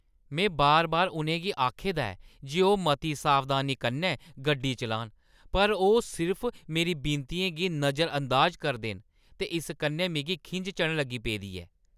में बार-बार उ'नेंगी आखे दा ऐ जे ओह् मती सावधानी कन्नै गड्डी चलान, पर ओह् सिर्फ मेरी विनतियें गी नजरअंदाज करदे न, ते इस कन्नै मिगी खिंझ चढ़न लगी पेदी ऐ।